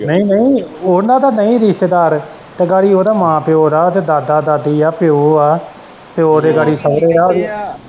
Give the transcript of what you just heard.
ਨਈ ਨਈ ਉਨਾਂ ਦਾ ਨਈ ਰਿਸ਼ਤੇਦਾਰ ਤੇ ਗਾੜੀ ਉਦੇ ਮਾਂ ਪਿਓ ਦਾ ਉਦੇ ਦਾਦਾ-ਦਾਦੀ ਦਾ ਪਿਓ ਆ ਪਿਓ ਦੇ ਗਾੜੀ ਸੁਹਰੇ ਐ ਓਦੀ।